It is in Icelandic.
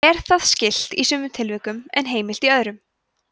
er það skylt í sumum tilvikum en heimilt í öðrum